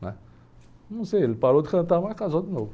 Não sei, ele parou de cantar, mas casou de novo.